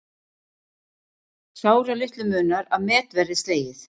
Sáralitlu munar að met verði slegið